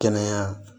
Kɛnɛya